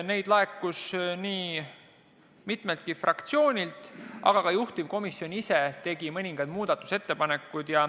Neid tuli nii mitmeltki fraktsioonilt, aga ka juhtivkomisjon ise tegi mõningad muudatusettepanekud.